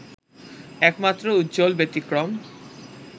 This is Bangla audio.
একমাত্র উজ্জ্বল ব্যতিক্রম